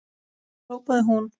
hrópaði hún.